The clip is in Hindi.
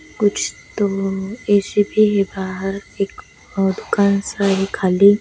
कुछ तो ए_सी भी है बाहर एक और दुकान सा है खाली --